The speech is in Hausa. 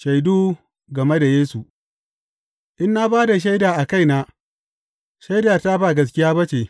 Shaidu game da Yesu In na ba da shaida a kaina, shaidata ba gaskiya ba ce.